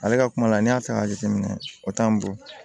Ale ka kuma la n'i y'a ta k'a jateminɛ o t'an bɔ